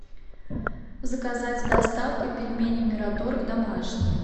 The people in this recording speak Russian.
заказать с доставкой пельмени мираторг домашние